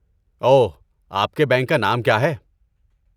اوہ، آپ کے بینک کا نام کیا ہے؟